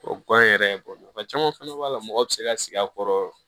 Tubabu gan yɛrɛ bɔ mɔgɔ caman fɛnɛ b'a la mɔgɔ bi se ka sigi a kɔrɔ